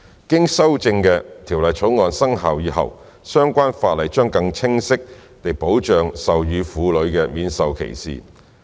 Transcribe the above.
經修正的《條例草案》生效以後，相關法例將更清晰地保障授乳婦女免受歧視。